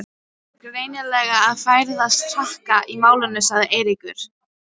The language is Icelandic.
Það er greinilega að færast harka í málin sagði Eiríkur.